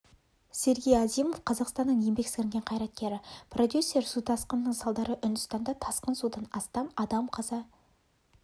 сергей азимов қазақстанның еңбек сіңірген қайраткері продюсер су тасқынының салдары үндістанда тасқын судан астам адам қаза